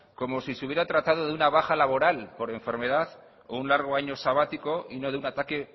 como si se hubiera tratado de una baja laboral por enfermedad o un largo año sabático y no de un ataque